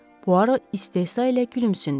Puaro istehsa ilə gülümsündü.